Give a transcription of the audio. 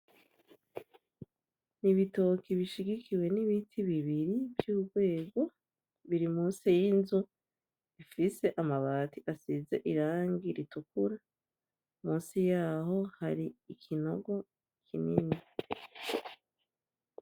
Ibitoki bishigikiwe n'ibiti bibiri vy'urwego biri munsi yinzu ifise amabati asize irangi ritukura, Munsi yaho hari ikinogo kinini.